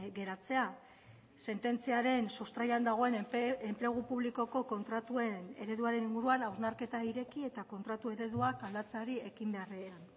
geratzea sententziaren sustraian dagoen enplegu publikoko kontratuen ereduaren inguruan hausnarketa ireki eta kontratu ereduak aldatzeari ekin beharrean